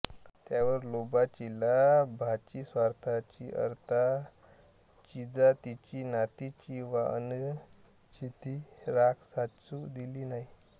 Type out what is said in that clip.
त्यावर लोभाचीलाभाचीस्वार्थाचीअर्थाचीजातीचीनातीची वा अनितीची राख साचू दिली नाही